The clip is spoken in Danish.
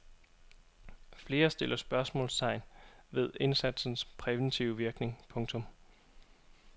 Flere stiller spørgsmålstegn vec indsatsens præventive virkning. punktum